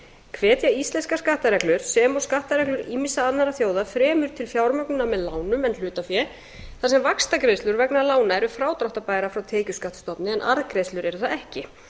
hvetja íslenskar skattareglur sem og skattareglur ýmissa annarra þjóða fremur til fjármögnunar með lánum en hlutafé þar sem vaxtagreiðslur vegna lána eru frádráttarbærar frá tekjuskattsstofni en arðgreiðslur eru það ekki